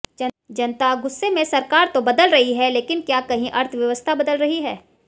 जनता गुस्से में सरकार तो बदल रही है लेकिन क्या कहीं अर्थव्यवस्था बदल रही है